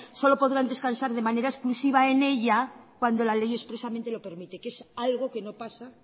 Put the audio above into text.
solo podrán descansar de manera exclusiva en ella cuando la ley expresamente lo permite que es algo que no pasa